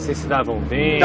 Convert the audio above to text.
Vocês se davam bem?